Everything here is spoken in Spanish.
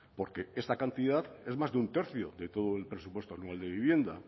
porque esta cantidad es más de un tercio de todo el presupuesto anual de vivienda